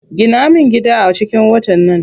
Gina min gida a cikin watan nan.